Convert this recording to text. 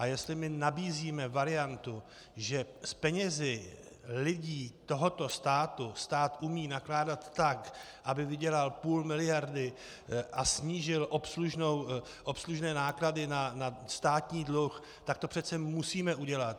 A jestli my nabízíme variantu, že s penězi lidí tohoto státu umí stát nakládat tak, aby vydělal půl miliardy a snížil obslužné náklady na státní dluh, tak to přece musíme udělat.